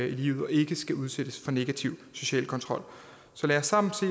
i livet og ikke skal udsættes for negativ social kontrol så lad os sammen se